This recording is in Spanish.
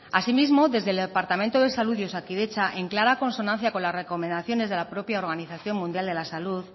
así mismo desde el departamento de salud y osakidetza en clara consonancia con las recomendaciones de la propia organización mundial de la salud